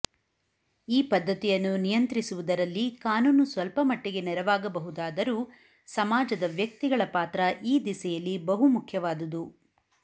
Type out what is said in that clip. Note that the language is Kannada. ಈ ಪದ್ಧತಿಯನ್ನು ನಿಯಂತ್ರಿಸುವುದರಲ್ಲಿ ಕಾನೂನು ಸ್ವಲ್ಪ ಮಟ್ಟಿಗೆ ನರವಾಗಬಹುದಾದರೂ ಸಮಾಜದ ವ್ಯಕ್ತಿಗಳ ಪಾತ್ರ ಈ ದಿಸೆಯಲ್ಲಿ ಬಹುಮುಖ್ಯವಾದುದು